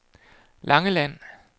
Langeland